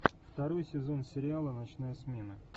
второй сезон сериала ночная смена